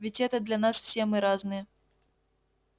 ведь это для нас все мы разные